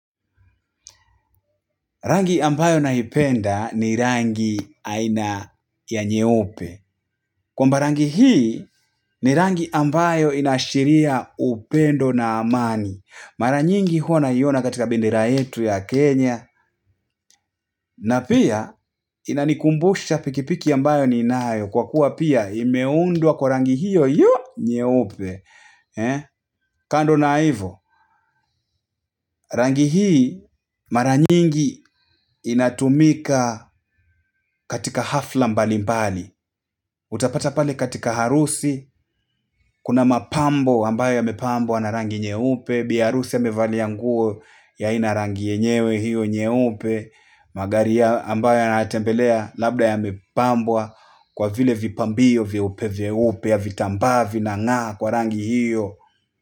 Rangi ambayo naipenda, ni rangi aina ya nyeupe. Kwamba rangi hii, ni rangi ambayo inaashiria upendo na amani. Mara nyingi hua naiona katika bendera yetu ya Kenya na pia, inanikumbusha pikipiki ambayo ninayo, kwa kuwa pia imeundwa kwa rangi hiyo hiyo nyeupe kando na hivo, rangi hii, mara nyingi, inatumika katika hafla mbali mbali utapata pale katika harusi, kuna mapambo ambayo yamepambwa na rangi nyeupe, bi harusi amevalia nguo, ya aina rangi yenyewe, hiyo nyeupe magari ya ambayo anayatembelea, labda yamepambwa, kwa vile vipambio vyeupe vyeupe ya vitambaa vinang'aa kwa rangi hiyo.